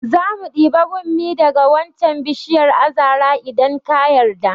Zamu ɗibi bommi daga wancan bishiyar azara idan ka yarda